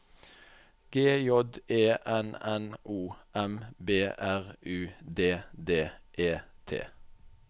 G J E N N O M B R U D D E T